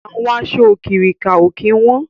Àwọn aṣọ òkirìkà ó kín wọn